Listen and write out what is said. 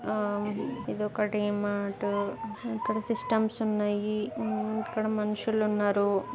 ఆం ఇది ఒక ధీమార్ట్ ఇక్కడ సిస్టంస్ ఉన్నాయ్ మ్మ్ ఇక్కడ మనుషులు ఉన్నరు.